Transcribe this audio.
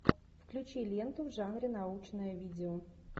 включи ленту в жанре научное видео